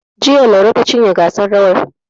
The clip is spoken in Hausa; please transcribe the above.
Jiya, Laure ta cinye gasar rawar.